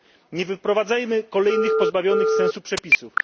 Nie wprowadzajmy kolejnych pozbawionych sensu przepisów!